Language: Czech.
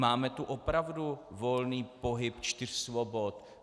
Máme tu opravdu volný pohyb čtyř svobod?